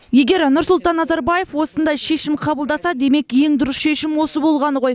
егер нұрсұлтан назарбаев осындай шешім қабылдаса демек ең дұрыс шешім осы болғаны ғой